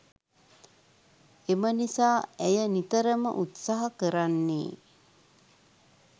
එම නිසා ඇය නිතරම උත්සහ කරන්නේ